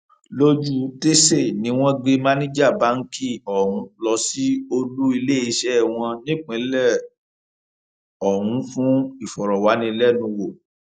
lójútèsè ni wọn gbé máníjà báǹkì ọhún lọ sí olú iléeṣẹ wọn nípínlẹ ọhún fún ìfọrọwánilẹnuwò